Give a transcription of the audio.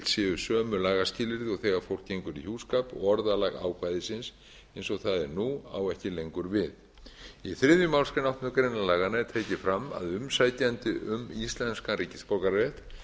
séu sömu lagaskilyrði og þegar fólk gengur í hjúskap og orðalag ákvæðisins eins og það er nú á ekki lengur við í þriðju málsgrein áttundu grein laganna er tekið fram að umsækjandi um íslenskan ríkisborgararétt